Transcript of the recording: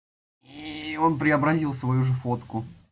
и он преобразил свою же фотку